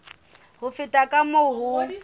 ho feta ka moo ho